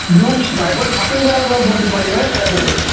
बायकोला shopping करायला देतात भर दुपारी माहिती आहे का तुले